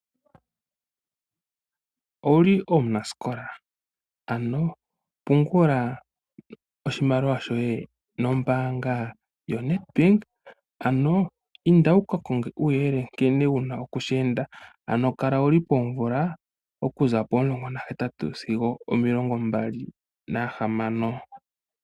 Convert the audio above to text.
Owuli omunasikola? Ano pungula oshimaliwa shoye nombaanga yoNedbank. Ano inda wukakonge uuyelele nkene wuna okushi enda. Ano kala wuli poomvula okuza pomulongo nahetatu sigo omilongo mbali nahamano.